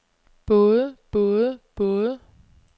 både både både